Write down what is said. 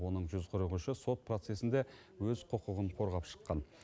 оның жүз қырық үші сот процесінде өз құқығын қорғап шыққан